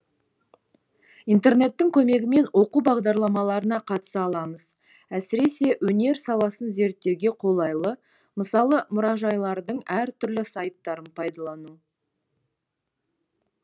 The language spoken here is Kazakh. интернеттің көмегімен оқу бағдарламаларына қатыса аламыз әсіресе өнер саласын зерттеуге қолайлы мысалы мұражайлардың әр түрлі сайттарын пайдалану